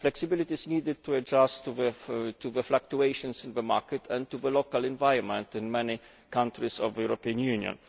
Flexibility is needed to adjust to the fluctuations of the market and to the local environment in many countries of the European Union.